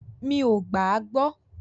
Mí o gbà à gbọ.